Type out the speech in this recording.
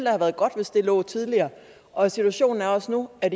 have været godt hvis det lå tidligere og situationen er også nu at